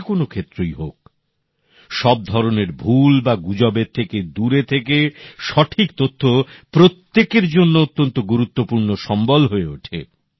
যে কোনও ক্ষেত্রই হোক সব ধরনের ভুল বা গুজবের থেকে দূরে থেকে সঠিক তথ্য প্রত্যেকের জন্য অত্যন্ত গুরুত্বপূর্ণ সম্বল হয়ে ওঠে